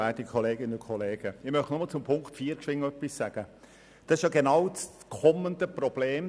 Die schnellen EBikes sind genau das kommende Problem.